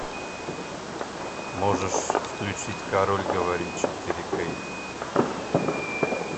можешь включить король говорит четыре кей